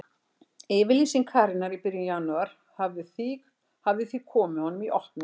Yfirlýsing Karenar í byrjun janúar hafði því komið honum í opna skjöldu.